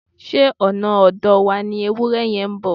Ṣé ọ̀nà ọ̀dọ̀ wa ni ewúrẹ yẹn ń bọ̀?